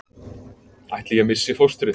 Ætli ég missi fóstrið?